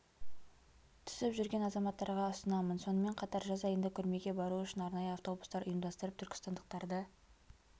түсіп жүрген азаматтарға ұсынамын сонымен қатар жаз айында көрмеге бару үшін арнайы автобустар ұйымдастырып түркістандықтарды